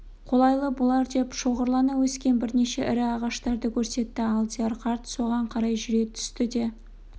қолайлы болар деп шоғырлана өскен бірнеше ірі ағаштарды көрсетті алдияр қарт соған қарай жүре түсті де